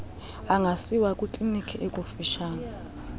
angasiwa kwikliniki ekufutshane